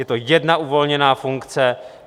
Je to jedna uvolněná funkce.